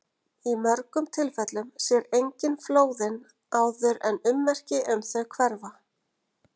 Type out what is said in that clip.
Í mörgum tilfellum sér enginn flóðin áður en ummerki um þau hverfa.